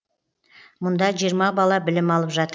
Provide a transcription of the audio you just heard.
мұнда жиырма бала білім алып жатыр